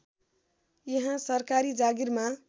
यहाँ सरकारी जागिरमा